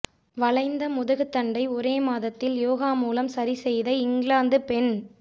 வளைந்த முதுகுத்தண்டை ஒரே மாதத்தில் யோகா மூலம் சரிசெய்த இங்கிலாந்து பெண்